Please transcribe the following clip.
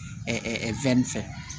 fɛ